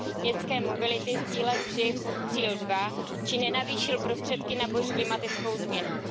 městské mobility z cíle 3 pod cíl 2 či nenavýšil prostředky na boj s klimatickou změnou.